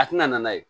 A tɛna n'a ye